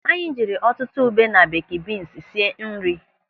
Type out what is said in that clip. Anyị jiri ọtụtụ ube na beeki bins sie nri.